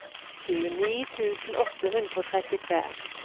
tjueni tusen åtte hundre og trettitre